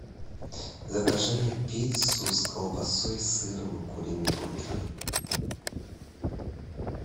закажи мне пиццу с колбасой и сыром и куриной грудкой